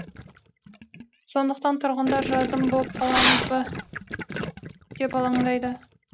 сондықтан тұрғындар жазым боп қаламыз ба деп алаңдайды